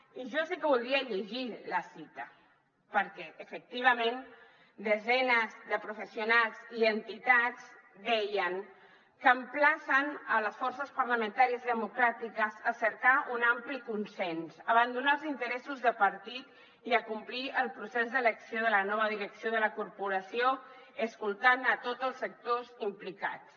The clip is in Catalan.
i jo sí que voldria llegir la cita perquè efectivament desenes de professionals i entitats deien que emplacen les forces parlamentàries democràtiques a cercar un ampli consens abandonar els interessos de partit i acomplir el procés d’elecció de la nova direcció de la corporació escoltant tots els sectors implicats